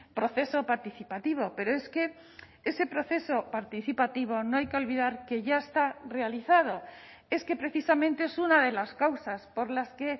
proceso participativo pero es que ese proceso participativo no hay que olvidar que ya está realizado es que precisamente es una de las causas por las que